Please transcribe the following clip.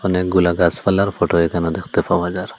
অনেকগুলা গাছপালার ফটো এখানে দেখতে পাওয়া যার।